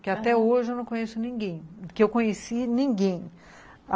Que até hoje eu não conheço ninguém, que eu conheci ninguém.